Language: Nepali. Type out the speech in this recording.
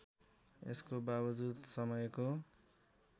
यसको बावजुद समयको